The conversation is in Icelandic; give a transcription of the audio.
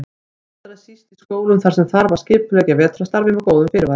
Allra síst í skólum þar sem þarf að skipuleggja vetrarstarfið með góðum fyrirvara.